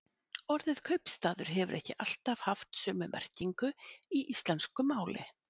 Orðið kaupstaður hefur ekki alltaf haft sömu merkingu í íslensku máli.